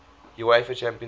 uefa champions league